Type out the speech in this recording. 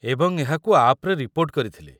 ଏବଂ ଏହାକୁ ଆପ୍‌ରେ ରିପୋର୍ଟ କରିଥିଲି।